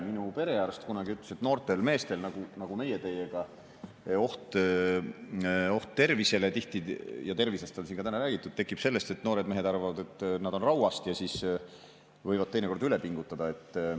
Minu perearst kunagi ütles, et noortel meestel nagu meie teiega, tekib tihti oht tervisele – ja tervisest on siin täna räägitud – sellest, et noored mehed arvavad, et nad on rauast ja siis võivad teinekord üle pingutada.